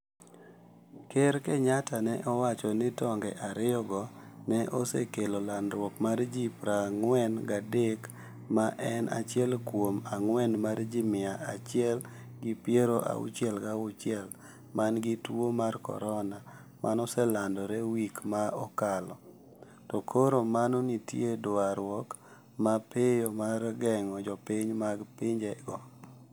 ker Kenyatta ne owacho ni tong'e ariyo go ne osekelo landruok mar ji pra ng'wen ga adek ma en achiel kuom ang'wen mar ji mia achiel gi piero auchie ga auchiel man gi tuo mar corona maneoselandore wik ma okalo to koro mano nitie dwaruok ma piyo mar geng'o jopiny mag pinje go